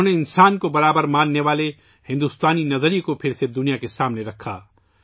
انہوں نے انسان کو یکساں سمجھنے والے بھارتی درشن کو پھر سے دنیا کے سامنے رکھنا